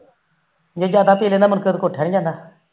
ਜੇ ਜਾਦਾ ਪੀ ਲੈਦਾ ਫਿਰ ਉਠਿਆ ਨੀ ਜਾਂਦਾ